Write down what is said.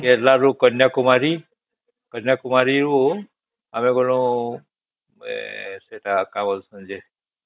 କେରଳା ରୁ କନ୍ୟାକୁମାରୀ କନ୍ୟାକୁମାରୀ ରୁ ଆମେ ଗଲୁ ସେଟା କା ବୋଲସେ ଯେ